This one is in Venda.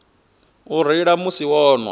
u reila musi vho nwa